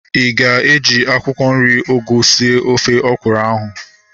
Ịga eji akwụkwọ nri ugu sie ofe ọkwụrụ ahu